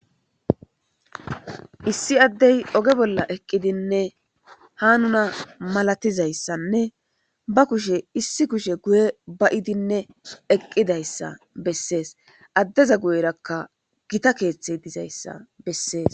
Issi addey oge bolla eqqidinne ha nuna malatizayssanne ba kushe issi kushe guye bayidinne eqqidayssa bessees. addeza guyerakka gita keeththi dizayssa bessees.